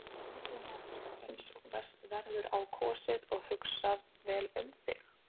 Er aðbúnaðurinn eins og best verður á kosið og hugsað vel um þig?